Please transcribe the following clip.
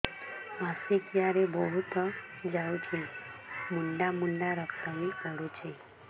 ମାସିକିଆ ରେ ବହୁତ ଯାଉଛି ମୁଣ୍ଡା ମୁଣ୍ଡା ରକ୍ତ ବି ପଡୁଛି